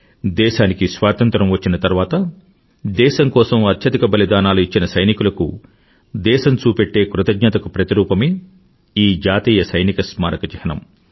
దేశానికి స్వాతంత్రం వచ్చిన తర్వాత దేశం కోసం అత్యధిక బలిదానాలు ఇచ్చిన సైనికులకు దేశం చూపెట్టే కృతజ్ఞతకు ప్రతిరూపమే ఈ జాతీయ సైనిక స్మారక చిహ్నం